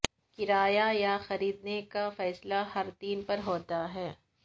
کرایہ یا خریدنے کا فیصلہ ہر تین پر ہوتا ہے